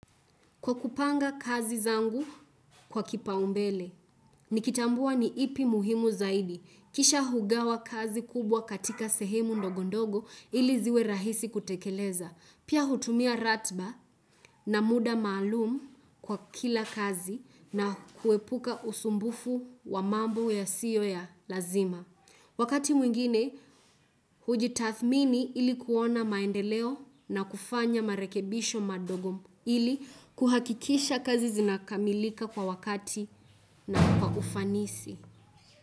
Kwa kupanga kazi zangu kwa kipa umbele, nikitambua ni ipi muhimu zaidi, kisha hugawa kazi kubwa katika sehemu ndogondogo ili ziwe rahisi kutekeleza, pia hutumia ratba na muda maalumu kwa kila kazi na kuepuka usumbufu wa mambo yasiyo ya lazima. Wakati mwingine, huji tathmini ili kuona maendeleo na kufanya marekebisho madogo ili kuhakikisha kazi zinakamilika kwa wakati na kwa ufanisi.